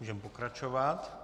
Můžeme pokračovat.